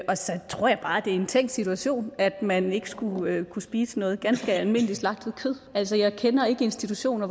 tror jeg bare det er en tænkt situation at man ikke skulle kunne spise noget ganske almindelig slagtet kød altså jeg kender ikke institutioner